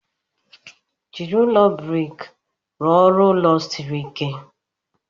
Jiri ụlọ brik rụọ ọrụ ulo siri ike.